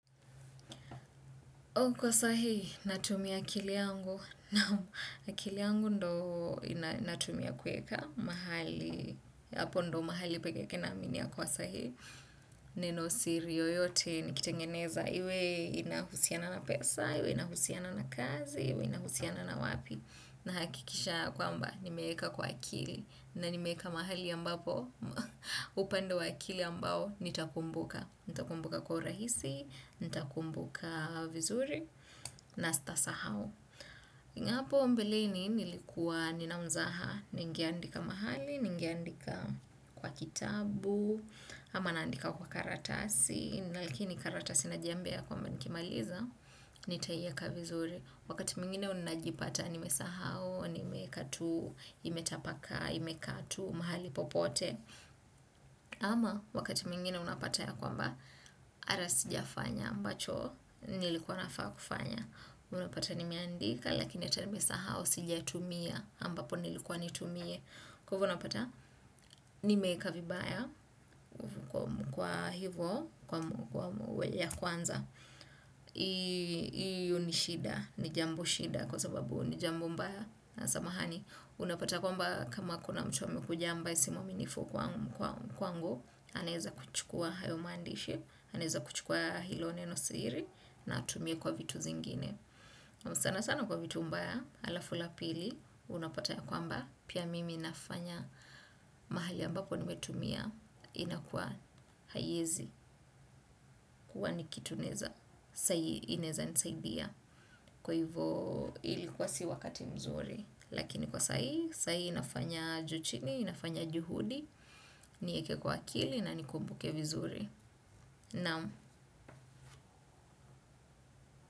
Kwa sahi natumia akili yangu. Akili yangu ndo natumia kuweka mahali. Hapo ndo mahali peke yake na amini ya kuwa sahihi. Neno siri yoyote nikitengeneza. Iwe inahusiana na pesa, iwe inahusiana na kazi, iwe inahusiana na wapi. Na hakikisha kwa mba nimeeka kwa akili na ni meeka mahali ambapo upando wakili ambao nitakumbuka nitakumbuka kwa urahisi, nitakumbuka vizuri na si tasahau hapo mbeleni nilikua ni na mzaha ningeandika mahali ningeandika kwa kitabu ama naandika kwa karatasi na likini karatasi na jiambia kwamba nikimaliza nitaiweka vizuri wakati mwingine unajipata nimesahau, nimeiweka tu, imetapakaa, imekaa tu, mahali popote ama wakati mwingine unapata ya kwamba ara si jafanya ambacho nilikuwa nafaa kufanya unapata nimeandika lakini tena nimesahau sijaitumia ambapo nilikuwa niitumie kwa hivyo unapata nimeiweka vibaya kwa hivyo ya kwanza hiyo ni shida ni jambo shida kwa sababu ni jambo mbaya samahani unapata kwamba kama kuna mtu amekuja ambaye si mwaminifu kwangu anaeza kuchukua hayo maandishi anaeza kuchukua hilo neno siri na atumie kwa vitu zingine sana sana kwa vitu mbaya alafu la pili unapata kwamba pia mimi nafanya mahali ambapo nimetumia inakuwa haiezi kuwa ni kitu inaeza nisaidia kwa hivo ilikuwa si wakati mzuri lakini kwa saa hii saa hii nafanya juu chini, nafanya juhudi nieke kwa akili na nikumbuke vizuri naam.